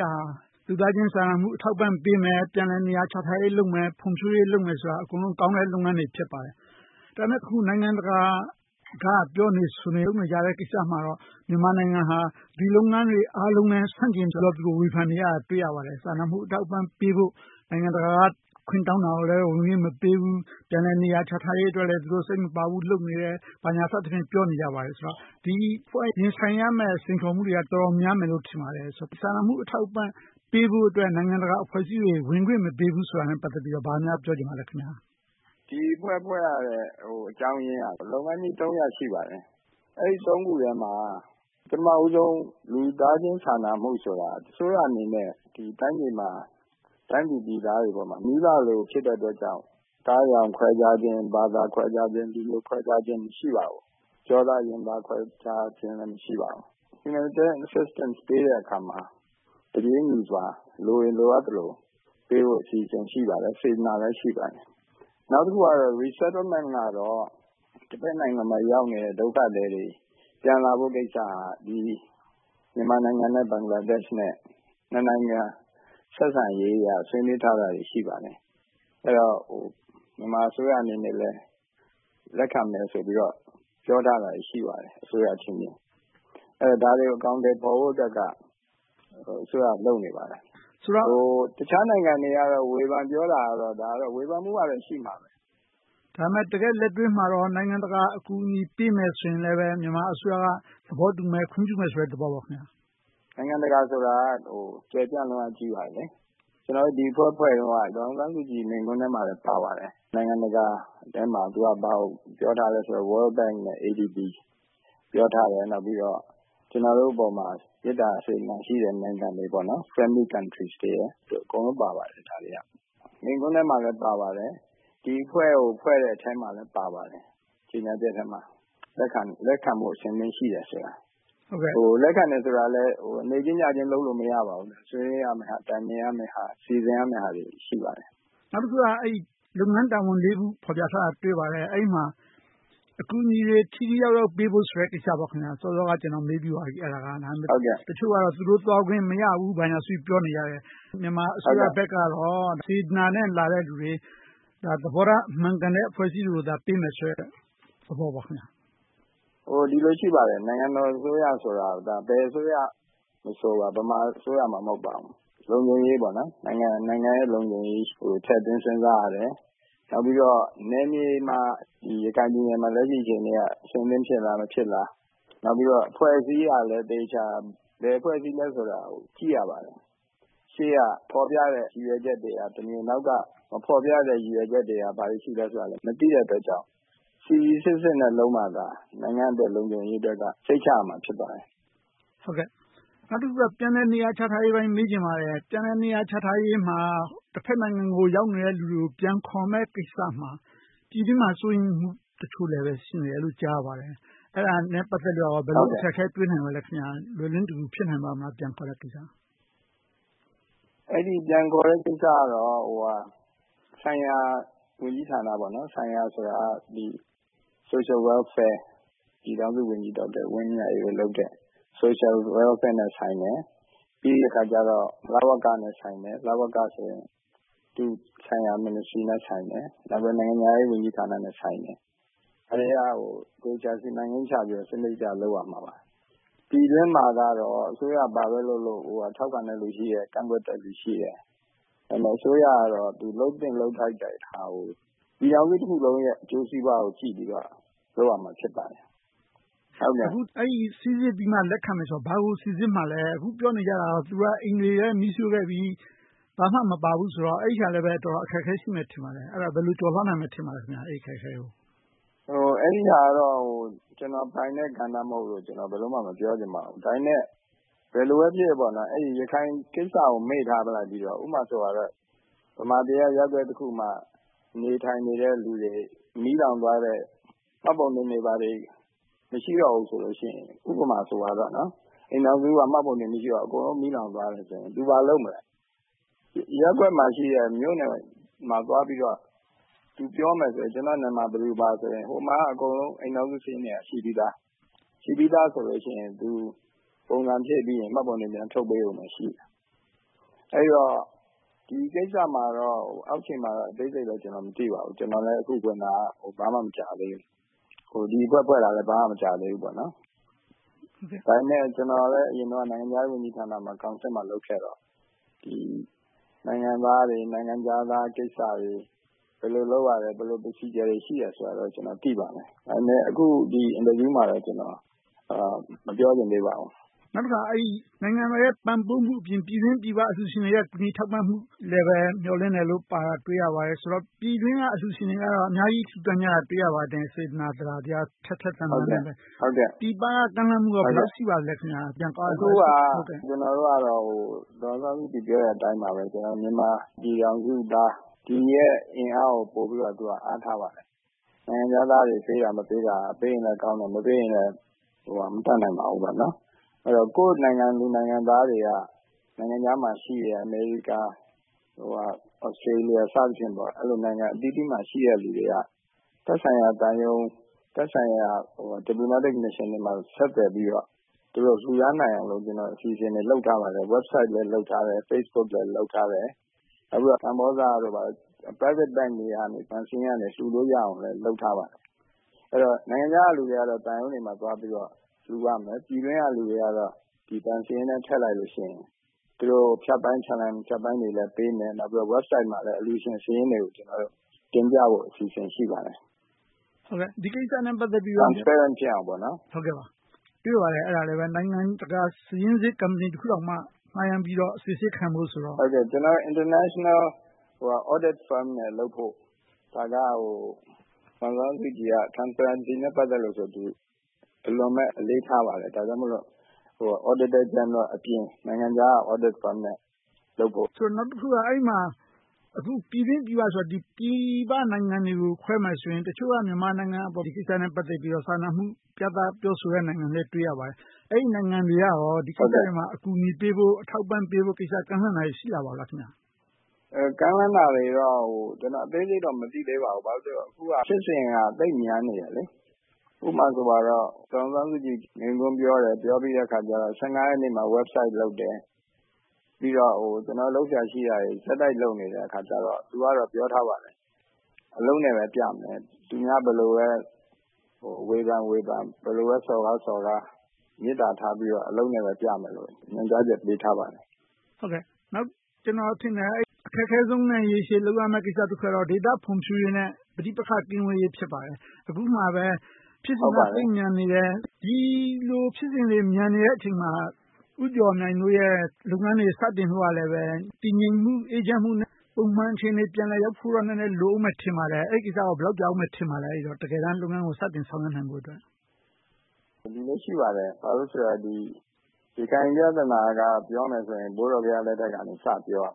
က်တာ လူသားချင်းစာနာမှု အထောက်အပံ့ပေးမယ်။ ပြန်လည်နေရာချထားရေးလုပ်မယ်။ ဖွံ့ဖြိုးရေးလုပ်မယ်ဆိုတာ အကုန်လုံးကောင်းတဲ့ လုပ်ငန်းတွေ ဖြစ်ပါတယ်။ ဒါပေမဲ့ အခု နိုင်ငံတကာက ပြောနေဆိုနေ လုပ်နေကြတဲ့ကိစ္စမှာတော့ မြန်မာနိုင်ငံဟာ ဒီလုပ်ငန်းတွေနဲ့ အားလုံးနဲ့ ဆန့်ကျင်ပြီးတော့ သူတို့ ဝေဖန်နေကြတာကို တွေ့ရပါတယ်။ စာနာမှုအထောက်အပံ့ပေးဖို့ နိုင်ငံတကာက ခွင့်တောင်းတာကိုလည်း ဝင်ခွင့်မပေးဘူး။ ပြန်လည်နေရာချထားရေးအတွက်လည်း စိတ်မပါဘူး လုပ်နေတယ်။ ဘာညာစသဖြင့် ပြောနေကြပါတယ်။ ဒီအဖွဲ့ ရင်ဆိုင်နေရတဲ့ စိန်ခေါ်မှုတွေက တော်တော်များမယ်လို့ ထင်ပါတယ်။ စာနာမှုအထောက်အပံ့ ပေးဖို့အတွက် နိုင်ငံတကာအဖွဲ့အစည်းတွေ ဝင်ခွင့်မပေးဘူးဆိုတာနဲ့ ပတ်သက်ပြီးတော့ ဘာများပြောချင်ပါလဲ။ ဒီအဖွဲ့ ဖွဲ့ရတဲ့အကြောင်းရင်းက လုပ်ငန်းကြီး ရပ် ရှိပါတယ်။ အဲဒီ ခုထဲမှာ ပထမဦးဆုံး လူသားချင်းစာနာမှုဆိုတာ အစိုးရအနေနဲ့ တိုင်းသူပြည်သားတွေပေါ်မှာ မိဘလို ဖြစ်တဲ့အတွက်ကြောင့် အသားအရောင် ခွဲခြားခြင်း၊ ဘာသာခွဲခြားခြင်း၊ လူမျိုးခွဲခြားခြင်း မရှိပါဘူး။ ကျောသားရင်သား ခွဲခြားခြင်းလည်း မရှိပါဘူး။ Humanitarian Assistance ပေးတဲ့အခါမှာ တပြေညီစွာ လိုရင်လိုအပ်သလို ပေးဖို့ အစီအစဉ် ရှိပါတယ်။ စေတနာလည်း ရှိပါတယ်။ နောက်တခုကတော့ Resettlement ကတော့ တဘက်နိုင်ငံမှာ ရောက်ရှိနေတဲ့ ဒုက္ခသည်တွေ ပြန်လာဖို့ကိစ္စက မြန်မာနိုင်ငံနဲ့ ဘင်္ဂလားဒေ့ရှ်တို့ နှစ်နိုင်ငံ ဆက်ဆံရေးအရ ဆွေးနွေးထားတာတွေ ရှိပါတယ်။ မြန်မာအစိုးရအနေနဲ့လည်း လက်ခံမယ်ဆိုပြီးတော့ ပြောထားတာ ရှိပါတယ်။ ဒါတွေကို အကောင်အထည် ဖော်ဖို့အတွက်က အစိုးရက လုပ်နေပါတယ်။ တခြားနိုင်ငံတွေက ဝေဖန်ပြောတာကတော့ ဝေဖန်မှုကတော့ ရှိမှာပဲ။ ဒါပေမဲ့ တကယ့်လက်တွေ့မှာတော့ နိုင်ငံတကာ အကူအညီပေးမယ်ဆိုရင်လည်း မြန်မာအစိုးရက သဘောတူမယ်။ ခွင့်ပြုမယ်ဆိုတဲ့ သဘောပေါ့။ နိုင်ငံတကာဆိုတာ ကျယ်ပြန့်လွန်ပါတယ်။ ကျနော်တို့ ဒီအဖွဲ့ ဖွဲ့တုန်းက ဒေါ်အောင်ဆန်းစုကြည်ပြောတဲ့ မိန့်ခွန်းထဲမှာလည်း ပါပါတယ်။ နိုင်ငံတကာထဲမှာ သူက ဘာကိုပြောထားလဲဆိုတော့ World Bank, ADB ကို ပြောထားတယ်။ နောက်ပြီးတော့ ကျနော်တို့အပေါ်မှာ မေတ္တာ၊ စေတနာရှိတဲ့ နိုင်ငံတွေ Friendly countries တွေ အကုန်လုံးပါပါတယ်။ မိန့်ခွန်းထဲမှာလည်း ပါပါတယ်။ ဒီအဖွဲ့ကို ဖွဲ့တဲ့အထဲမှာ ကြေညာချက်ထဲမှာ လက်ခံဖို့ အဆင်သင့်ရှိတယ်ဆိုတာ။ လက်ခံတယ်ဆိုတာကလဲ နေ့ချင်းညချင်း လုပ်လို့မရပါဘူး။ ဆွေးနွေးရမယ့်ဟာ၊ တိုင်ပင်ရမယ့်ဟာ၊ စီစဉ်ရမယ့်ဟာတွေ ရှိပါတယ်။ နောက်တခုက လုပ်ငန်းတာဝန် ခု တင်ပြထားတာ တွေ့ပါတယ်။ အဲဒီမှာ အကူအညီတွေ ထိထိရောက်ရောက် ပေးဖို့ဆိုတဲ့ ကိစ္စပါ။ စောစောက ကျနော် မေးပြီးပါပြီ။ တချို့ကတော့ သူတို့သွားခွင့်မရဘူး ဘာညာဆိုပြီး ပြောနေကြတယ်။ မြန်မာအစိုးရဘက်ကတော့ စေတနာနဲ့ လာတဲ့လူတွေ၊ သဘောထား မှန်ကန်တဲ့ အဖွဲ့အစည်းတွေကိုသာ ပေးမယ်ဆိုတဲ့ သဘောပေါ့။ ဒီလိုရှိပါတယ် နိုင်ငံတော်အစိုးရဆိုတာက ဘယ်အစိုးရမဆို ဗမာအစိုးရမှ မဟုတ်ပါဘူး။ လုံခြုံရေး၊ နိုင်ငံရဲ့ လုံခြုံရေးကို ထည့်သွင်းစဉ်းစားရတယ်။ နောက်ပြီးတော့ နယ်မြေမှာ ရခိုင်ပြည်နယ်မှာ လက်ရှိအခြေအနေမှာ အဆင်သင့်ဖြစ်လား။ မဖြစ်လား။ နောက်ပြီးတော့ အဖွဲ့အစည်းအရလည်း အသေအခြာ ဘယ်အဖွဲ့အစည်းလဲဆိုတာကို ကြည့်ရပါတယ်။ ရှေ့ကဖော်ပြတဲ့ ရည်ရွယ်ချက်တွေကတမျိုး နောက်က မဖော်ပြတဲ့ ရည်ရွယ်ချက်တွေက ဘာတွေရှိသလဲဆိုတာကို မသိရတဲ့အတွက်ကြောင့် စီစီစစ်စစ်နဲ့ လုပ်မှသာ နိုင်ငံအတွက်၊ လုံခြုံရေးအတွက် စိတ်ချရမှာ ဖြစ်ပါတယ်။ နောက်တခုက ပြန်လည်နေရာချထားရေးကိစ္စကို မေးချင်ပါတယ်။ ပြန်လည်နေရာချထားရေးမှာ တဘက်နိုင်ငံကို ရောက်နေတဲ့လူတွေကို ပြန်ခေါ်မယ့်ကိစ္စမှာ ပြည်တွင်းမှာ စိုးရိမ်မှုတချို့လည်း ရှိနေတယ်လို့ ကြားသိရပါတယ်။ အဲဒါနဲ့ ပတ်သက်လို့ ဘယ်လို အခက်အခဲတွေ တွေ့နိုင်ပါလဲ။ ပြန်ခေါ်ဖို့အတွက် ဖြစ်နိုင်ပါ့မလား။ ပြန်ခေါ်ဖို့ကိစ္စကတော့ ဆိုင်ရာဝန်ကြီးဌာန - Social Welfare ပြည်ထောင်စုဝန်ကြီး ဒေါက်တာဝင်းမြတ်အေးတို့လုပ်တဲ့ အလုပ်နဲ့ဆိုင်မယ်။ ပြီးတော့ လဝကနဲ့ဆိုင်မယ်။ လဝကဆိုရင် သက်ဆိုင်ရာ ဝန်ကြီးဌာနနဲ့ဆိုင်မယ်။ နောက် နိုင်ငံခြားရေးဝန်ကြီးဌာနနဲ့ ဆိုင်မယ်။ အဲဒါတွေကို သေချာစီမံကိန်းချပြီးတော့ လုပ်ရပါမယ်။ ပြည်တွင်းမှာတော့ အစိုးရ ဘာပဲလုပ်လုပ် ထောက်ခံတဲ့လူရှိတယ်။ ကန့်ကွက်တဲ့လူရှိတယ်။ အစိုးရကတော့ သူ လုပ်သင့်လုပ်ထိုက်တဲ့ဟာကို ပြည်ထောင်စုတခုလုံးရဲ့ အကျိုးစီးပွားကို ကြည့်ပြီးတော့ လုပ်ရမှာ ဖြစ်ပါတယ်။ စီစစ်ပြီးတော့ လက်ခံမယ်ဆိုတာ ဘာကို စီစစ်မှာလဲ။ အခုပြောနေကြတာ သူတို့တွေက အိမ်တွေလည်း မီးရှို့ခဲ့ပြီ။ ဘာမှမပါဘူးဆိုတော့ အဲဒါလဲ တော်တော်လေး အခက်အခဲရှိမယ် ထင်ပါတယ်။ အဲဒါကို ဘယ်လိုကျော်လွှာနိုင်မယ်လို့ ထင်ပါလဲ။ အဲဒါကတော့ ကျနော်ပိုင်တဲ့ ကဏ္ဍ မဟုတ်လို့ ဘယ်လိုမှ မပြောချင်ပါဘူး။ ဒါပေမဲ့ ဘယ်လိုပဲဖြစ်ဖြစ် ရခိုင်ကိစ္စကို မေ့ထားလိုက်ပြီးတော့ ဥပမာ ဗမာပြည်က ရပ်ကွက်တခုမှာ နေထိုင်နေတဲ့လူတွေ မီးလောင်သွားတဲ့အခါ မှတ်ပုံတင်တွေ ဘာတွေ မရှိတော့ဘူးဆိုရင် ဥပမာဆိုရင် အိမ်ထောင်စုက မှတ်ပုံတင် မရှိတော့ဘူး။ အကုန်လုံး မီးလောင်သွားတယ်ဆိုရင် သူ ဘာလုပ်မလဲ - ရပ်ကွက်မှာရှိတဲ့ မြို့နယ်မှာသွားပြီးတော့ သူပြောမယ် - ကျနော်နာမည် ဘယ်သူဘယ်ဝါဆိုရင် ဟိုမှာက အိမ်ထောင်စုစာရင်းတွေက ရှိပြီသာ။ ရှိပြီသာဆိုရင် ပုံစံဖြည့်ပြီးရင် မှတ်ပုံတင် ပြန်ထုတ်ပေးရုံပဲရှိမယ်။ အဲဒီတော့ ဒီကိစ္စမှာတော့ အောက်ခြေမှာတော့ အသေးစိတ်လည်း မသိပါဘူး။ ကျနော်လည်း အခုဝင်တာ ဘာမှ သိပ်မကြာသေးဘူး။ ဒီအဖွဲ့ ဖွဲ့တာလည်း ဘာမှမကြာသေးဘူး။ ဒါပေမဲ့ ကျနော်လည်း အရင်တုန်းက နိုင်ငံခြားရေးဝန်ကြီးဌာနမှာ ကောင်စစ်မှာ လုပ်ခဲ့တော့ နိုင်ငံသားတွေ၊ နိုင်ငံခြားသားကိစ္စတွေ ဘယ်လိုလုပ်ရတယ်၊ ဘယ်လို Procedure တွေ ရှိတယ်ဆိုတာတော့ ကျနော် သိပါတယ်။ ဒါပေမဲ့ အခု ဒီအင်တာဗျူးမှာတော့ မပြောချင်သေးပါဘူး။ နောက်တခါ နိုင်ငံတော်ရဲ့ ပံ့ပိုးမှုအပြင် ပြည်တွင်းပြည်ပ အလှုရှင်တွေရဲ့ ကူညီထောက်ပံ့မှုလည်း မျှော်လင့်တယ်လို့ ပြောထားတာကို တွေ့ရပါတယ်။ ဆိုတော့ ပြည်တွင်းက အလှုရှင်တွေကတော့ အများကြီး လှုဒါန်းကြတာ တွေ့ရပါတယ်။ စေတနာ၊ သဒ္ဒါတရား ထက်ထက်သန်သန်နဲ့ ပြည်ပက ကမ်းလှမ်းမှုတွေ ဘယ်လောက်ရှိပါလဲ။ အခုက ကျနော်တို့ကတော့ ဒေါ်အောင်ဆန်းစုကြည် ပြောတဲ့အတိုင်းပါပဲ။ မြန်မာပြည်ထောင်စုသားတွေရဲ့ အင်အားကို ပိုပြီးတော့ အားထားပါတယ်။ နိုင်ငံခြားသားတွေ ပေးတာမပေးတာ - ပေးရင်လဲကောင်းတယ်။ မပေးရင်လဲ မတတ်နိုင်ပါဘူးပေါ့။ ကိုယ့်နိုင်ငံသူ နိုင်ငံသားတွေက နိုင်ငံခြားမှာရှိတဲ့ America, Australia စသည်ဖြင့် အဲဒီလို နိုင်ငံအသီးသီးမှာရှိတဲ့ လူတွေက သက်ဆိုင်ရာသံရုံး၊ သက်ဆိုင်ရာ diplomatic missions တွေမှာ ဆက်သွယ်ပြီးတော့ လှုဒါန်းနိုင်အောင် အစီအစဉ်တွေ လုပ်ထားပါတယ်။ Website လည်း လုပ်ထားတယ်။ Facebook လည်း လုပ်ထားတယ်။ နောက်ပြီးတော့ ကမ္ဘောဇ Private Bank တွေကနေ လှုလို့ရအောင် လုပ်ထားပါတယ်။ အဲဒီတော့ နိုင်ငံခြားကလူတွေကတော့ သံရုံးတွေမှာသွားပြီးတော့ လှုနိုင်တယ်။ ပြည်တွင်းကလူတွေကတော့ ဘဏ်စာရင်းထဲ ထည့်လိုက်လို့ရှိရင် ဖြတ်ပိုင်း ချလန်တွေလည်းပေးမယ်။ Website မှာလည်း အလှုရှင်စာရင်းတွေကို တင်ပြဖို့ အစီအစဉ် ရှိပါတယ်။ Transparent ဖြစ်အောင်ပါ။ တွေ့ပါတယ်။ နိုင်ငံတကာ စာရင်းစစ်ကုမ္ပဏီတခုတောင်မှ ငှားရမ်းပြီးတော့ စီစစ်ခံဖို့ဆိုတော့… International Audit Firm နဲ့ လုပ်ဖို့ ဒါက ဒေါ်အောင်ဆန်းစုကြည်က Transparency နဲ့ဆို အလွန်အလေးထားပါတယ်။ ဒါကြောင့်မို့ Auditor General အပြင် နိုင်ငံခြားက Audit Firm နဲ့ လုပ်ဖို့ပါ။ နောက်တခုက အဲဒီမှာ ပြည်တွင်းပြည်ပဆိုရာမှာ ပြည်ပနိုင်ငံတွေကို ပြောမယ်ဆိုရင် တချို့က မြန်မာနိုင်ငံအပေါ် ဒီကိစ္စနဲ့ ပတ်သက်ပြီးတော့ စာနာမှုပြသ ပြောဆိုတဲ့နိုင်ငံတွေလည်း တွေ့ရပါတယ်။ အဲဒီနိုင်ငံတွေက ဒီကိစ္စတွေမှာ အကူအညီပေးဖို့၊ ထောက်ပံ့ပေးဖို့တွေ ကမ်းလှမ်းလာတာ ရှိပါလား။ ကမ်းလှမ်းလာတာတွေတော့ အသေးစိတ် မသိသေးပါဘူး။ ဘာဖြစ်လို့လဲဆိုတော့ အခုက ဖြစ်စဉ်က သိပ်မြန်နေတယ်။ ဥပမာဆိုရင်တော့ ဒေါ်အောင်ဆန်းစုကြည် မိန့်ခွန်းပြောတယ်။ ပြောပြီးတဲ့အခါကြတော့ ရက်နေ့မှာ Website လုပ်တယ်။ ပြီးတော့ လုပ်စရာရှိတာတွေ ဆက်တိုက်လုပ်နေတဲ့အခါကြတော့ သူကတော့ ပြောထားပါတယ်။ အလုပ်နဲ့ပဲပြမယ်။ သူများတွေ ဘယ်လိုပဲ ဝေဖန်ဝေဖန်၊ ဘယ်လိုပဲ စော်ကားစော်ကား မေတ္တာထားပြီးတော့ အလုပ်နဲ့ပဲပြမယ်လို့ ညွှန်ကြားချက်ပေးထားပါတယ်။ ကျနော်ထင်တယ် အခက်ခဲဆုံးနဲ့ ရေရှည်လုပ်ရမယ့် ကိစ္စတခုကတော့ ဒေသဖွံ့ဖြိုးရေးနဲ့ ပဋိပက္ခ ကင်းဝေးရေး ဖြစ်ပါတယ်။ အခုက ဖြစ်စဉ်က သိပ်မြန်နေတယ်။ ဒီလို ဖြစ်စဉ်တွေ မြန်နေတဲ့အချိန်မှာ ဦးကျော်မြိုင်တို့ရဲ့ လုပ်ငန်းတွေ စတင်ဖို့ကလည်း တည်ငြိမ်မှု၊ အေးချမ်းမှုနဲ့ ပုံမှန်အခြေအနေ ရောက်ဖို့တော့ နည်းနည်း လိုအုံးမယ်ထင်ပါတယ်။ အဲဒီကိစ္စ ဘယ်လောက်ကြာအုံးမယ်လို့ ထင်ပါလဲ။ တကယ်တမ်း လုပ်ငန်းကို စတင်ဆောင်ရွက်နိုင်ဖို့။ ရခိုင်ပြဿနာ ပြောမယ်ဆိုရင် ဘိုးတော်ဘုရားလက်ထက်ကနေ စပြောရ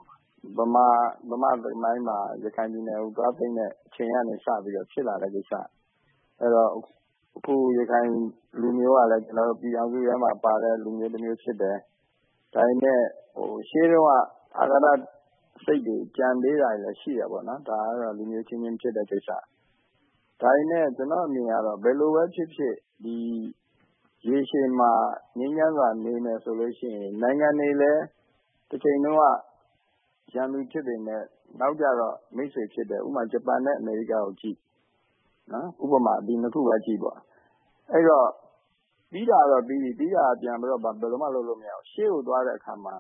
မှာ။ ဗမာသမိုင်းမှာ ရခိုင်ပြည်နယ်ကို သွားသိမ်းတဲ့အချိန်ကနေ စပြီးဖြစ်လာတဲ့ကိစ္စ။ အခု ရခိုင်လူမျိုးကလည်း ပြည်ထောင်စုထဲမှာ ပါတဲ့လူမျိုးဖြစ်တယ်။ ဒါပေမဲ့ ရှေးတုန်းက အဃာတစိတ်တွေ ကျန်နေသေးတာတွေလည်း ရှိတယ်။ ဒါကတော့ လူမျိုးအချင်းချင်း ဖြစ်တဲ့ကိစ္စ။ ဒါပေမဲ့ ကျနော့်အမြင်ကတော့ ဘယ်လိုပဲဖြစ်ဖြစ် ရေရှည်မှာ ငြိမ်းချမ်းစွာ နေမယ်ဆိုလို့ရှိရင် နိုင်ငံတွေလည်း တချိန်တုန်းက ရန်သူဖြစ်ပေမယ့် နောက်ကြတော့ မိတ်ဆွေဖြစ်တယ်။ ဥပမာ ဂျပန်နဲ့ အမေရိကကိုကြည့် - ဒီနှစ်ခုပဲကြည့်ပါ။ အဲဒီတော့ ပြီးတာတော့ပြီးပြီ။ ပြီးတာကို ဘာမှပြန်လုပ်လို့ မရဘူး။ ရှေ့ကိုသွားတဲ့အခါမှာ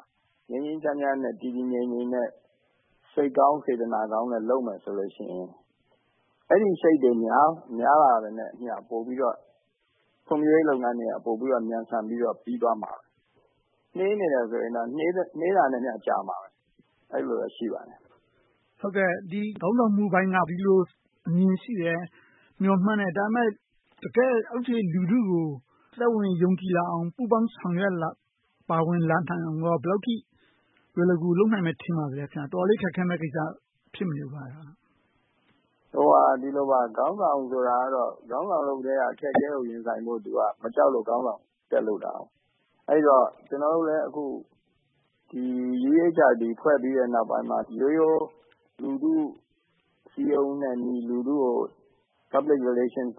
ငြိမ်းငြိမ်းချမ်းချမ်းနဲ့ တည်တည်ငြိမ်ငြိမ်နဲ့ စိတ်ကောင်းစေတနာကောင်းနဲ့ လုပ်မယ်ဆိုလို့ရှိရင် အဲဒီစိတ်တွေ များလာတာနဲ့အမျှ ပိုပြီးတော့ ဖွံ့ဖြိုးရေးလုပ်ငန်းတွေက မြန်ဆန်ပြီးတော့ ပြီသွားမှာ။ နှေးနေတယ်ဆိုရင်တော့ နှေးတာနဲ့အမျှ ကြာလိမ့်မယ်။ အဲဒီလိုမျိုး ရှိပါတယ်။ ခေါင်းဆောင်မှုပိုင်းက ဒီလိုအမြင်ရှိတယ်။ မျှော်မှန်းတယ်။ ဒါပေမဲ့ တကယ့် အောက်ခြေလူထုကို သက်ဝင်ယုံကြည်လာအောင်၊ ပူးပေါင်းဆောင်ရွက် ပါဝင်လာနိုင်အောင် ဘယ်လောက်အထိ လွယ်လွယ်ကူကူ လုပ်နိုင်မယ် ထင်ပါသလဲ။ တော်တော်လေး ခက်ခဲမယ့်ကိစ္စ ဖြစ်မနေဘူးလား။ ခေါင်းဆောင်ဆိုတာကတော့ ခေါင်းဆောင်လုပ်ကတည်းက အခက်အခဲတွေကို ရင်ဆိုင်ဖို့ သူက မကြောက်လို့ ခေါင်းဆောင်တက်လုပ်တာ။ အဲဒီတော့ ကျနော်တို့လည်း အခု UEHRD ဖွဲ့ပြီးတဲ့အခါမှာ ရိုးရိုးလူထုကို စည်းရုံးတဲ့နည်း၊ လူထုနဲ့ ဆက်ဆံနည်း Public relation and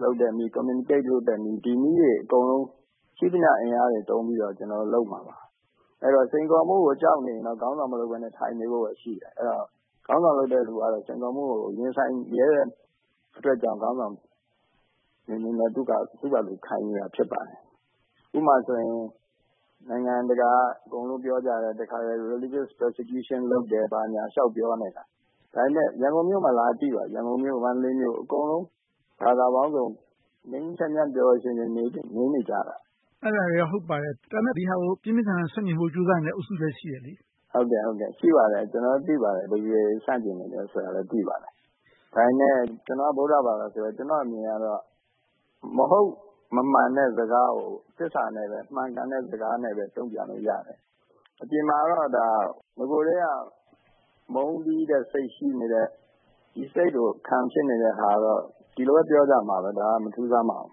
communication နည်းတွေ အကုန်လုံးကို ရှိသမျှအင်အားတွေ သုံးပြီးတော့ လုပ်မှာပါ။ အဲဒီတော့ စိန်ခေါ်မှုကို ကြောက်နေရင်တော့ ခေါင်းဆောင်မလုပ်ဘဲနဲ့ ထိုင်နေဖို့ပဲ ရှိတယ်။ အဲဒီတော့ ခေါင်းဆောင်လုပ်တဲ့လူကလည်း စိန်ခေါ်မှုကို ရင်ဆိုင်ရဲတဲ့အတွက်ကြောင့် ခေါင်းဆောင်အဖြစ်နဲ့ သူက ခိုင်နေတာဖြစ်တယ်။ ဥပမာဆိုရင် နိုင်ငံတကာက အကုန်လုံး ပြောကြတယ်။ Religious persecution လုပ်တယ် ဘာညာလျှောက်ပြောနေတာ ဒါပေမဲ့ ရန်ကုန်မြို့မှာ လာကြည့်ပါ။ ရန်ကန်ု၊ မန္တလေး အကုန်လုံး ဘာသာပေါင်းစုံ ငြိမ်းငြိမ်းချမ်းချမ်း၊ ပျော်ပျော်ရွှင်ရွှင် နေနေကြတယ်။ အဲဒါတွေက ဟုတ်ပါတယ်။ ဒါပေမဲ့ ဒီဟာကို ပြင်းပြင်းထန်ထန် ဆန့်ကျင်နေတဲ့ အုပ်စုလည်း ရှိနေတယ်။ ရှိပါတယ်။ ကျနော်တို့ သိပါတယ်။ ဘယ်သူတွေ ဆန့်ကျင်နေလဲဆိုတာလည်း သိပါတယ်။ ဒါပေမဲ့ ကျနော်က ဗုဒ္ဓဘာသာဆိုတော့ ကျနော့်အမြင်က မဟုတ်မမှန်တဲ့စကားကို သစ္စာနဲ့ပဲ၊ မှန်ကန်တဲ့စကားနဲ့ပဲ တုံ့ပြန်လို့ရတယ်။ အပြင်မှာတော့ နဂိုကတည်းက မုန်းတီးတဲ့စိတ် ရှိနေတဲ့ ဒီစိတ်ကို ခံဖြစ်နေတဲ့ဟာကတော့ ဒီလိုပဲ ပြောကြမှာပေါ့။ ဒါက မထူးဆန်းပါဘူး